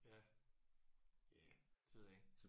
Ja. Ja det ved jeg ikke